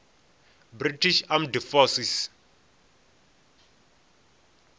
british armed forces